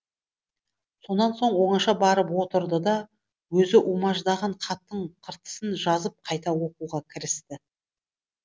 сонан соң оңаша барып отырды да өзі умаждаған хаттың қыртысын жазып қайта оқуға кірісті